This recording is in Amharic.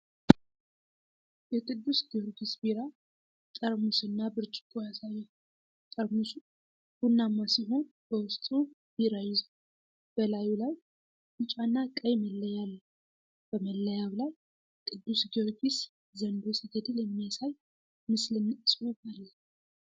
የቅዱስ ጊዮርጊስ ቢራ ጠርሙስና ብርጭቆ ያሳያል። ጠርሙሱ ቡናማ ሲሆን በውስጡ ቢራ ይዟል፤ በላዩ ላይ ቢጫና ቀይ መለያ አለው። በመለያው ላይ ቅዱስ ጊዮርጊስ ዘንዶ ሲገድል የሚያሳይ ምስልና ጽሑፍ አለ።